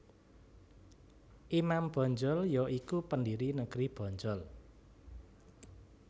Imam Bonjol ya iku pendiri negeri Bonjol